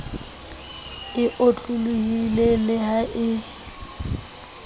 e otlolohileng le ha e